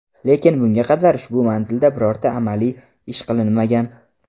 lekin bunga qadar ushbu manzilda birorta amaliy ish qilinmagan.